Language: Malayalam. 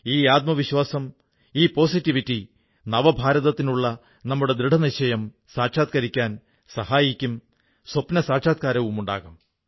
ഈ ആത്മവിശ്വാസം ഈ പോസിറ്റിവിറ്റി നവഭാരതത്തിനുള്ള നമ്മുടെ ദൃഢനിശ്ചയം സാക്ഷാത്കരിക്കാൻ സഹായിക്കും സ്വപ്നസാക്ഷാത്കാരമുണ്ടാകും